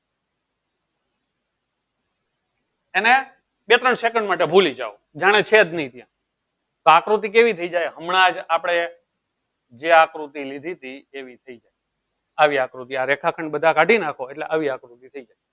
એને કેટલા second માટે ભૂલી જાવ જાણે છેજ નહિ ત્યાં તો આકૃતિ કેવી થઇ જાય હમણાં જ આપડે જે આકૃતિ લીધીતી એવી થઇ જાય આવી આકૃતિ આ રેખાખંડ બધા કાઢી નાખો એટલે આવી આકૃતિ થઇ જાય.